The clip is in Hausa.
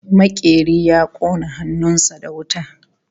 Makeri ya kona hannun sa da wuta